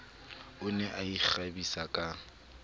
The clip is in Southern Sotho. o ne a ikgabisa ka